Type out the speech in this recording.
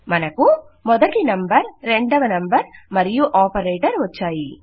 మనకు మొదటి నంబర్ రెండవ నంబర్ మరియు ఆపరేటర్ వచ్చాయి